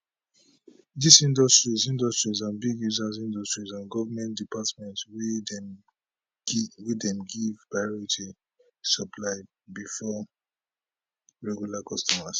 dis industries industries and big users industries and goment departments wey dem dey give priority supply bifor regular customers